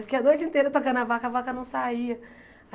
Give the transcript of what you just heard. Fiquei a noite inteira tocando a vaca, a vaca não saía.